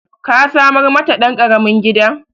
Ka samar mata ɗan ƙaramin gida